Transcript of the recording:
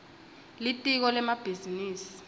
litiko lemabhizinisi